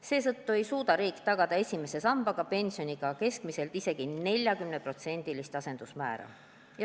Seetõttu ei suuda riik esimese samba pensioniga tagada keskmiselt isegi 40%-list asendusmäära.